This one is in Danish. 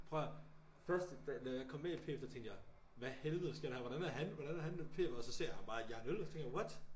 Prøv at hør første dag da jeg kom ind i pf der tænkte jeg hvad helvede sker der her hvordan er han hvordan er han pf og så så jeg ham bare jerne øl og så tænkte jeg what